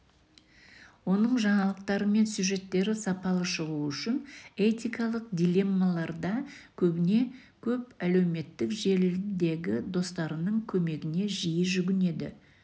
оның жаңалықтары мен сюжеттері сапалы шығу үшін этикалық дилеммаларда көбіне көп әлеуметтік желідегі достарының көмегіне жиі жүгінеді